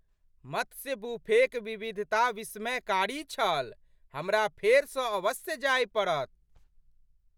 मत्स्य बुफेक विविधता विस्मयकारी छल। हमरा फेरसँ अवश्य जाय पड़त।